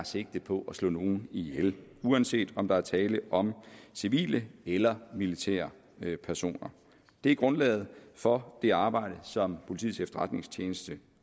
sigter på at slå nogen ihjel uanset om der er tale om civile eller militære personer det er grundlaget for det arbejde som politiets efterretningstjeneste